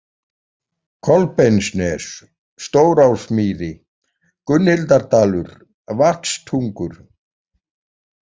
Kolbeinsnes, Stórásmýri, Gunnhildardalur, Vatnstungur